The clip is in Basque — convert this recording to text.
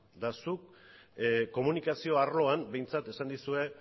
eta zuk komunikazio arloan behintzat esan dizute